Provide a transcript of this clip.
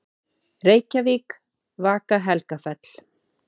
Reykjavík: Vaka-Helgafell.